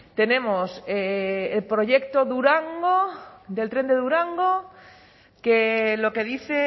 tenemos proyecto durango del tren de durango que lo que dice